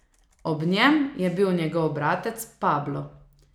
Ob njem je bil njegov bratec Pablo.